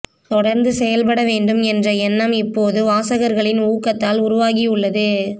தொடர்ந்து செயல்படவேண்டும் என்ற எண்ணம் இப்போது வாசகர்களின் ஊக்கத்தால் உருவாகி உள்ளது